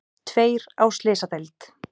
Tveir á slysadeild